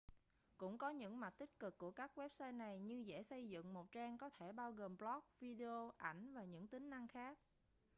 cũng có những mặt tích cực của các website này như dễ xây dựng một trang có thể bao gồm blog video ảnh và những tính năng khác